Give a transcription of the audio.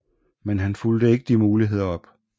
Men han fulgte ikke de muligheder op